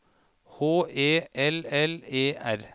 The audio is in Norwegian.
H E L L E R